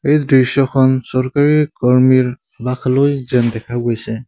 এই দৃশ্যখন চৰকাৰী কৰ্মীৰ যেন দেখা গৈছে।